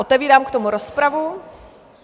Otevírám k tomu rozpravu.